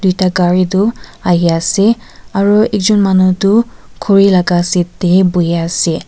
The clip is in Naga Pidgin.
tuita gari tu ahi ase aru ekjon manu tu khori laga seat teh bohi ase.